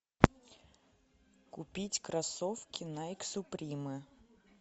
купить кроссовки найк суприме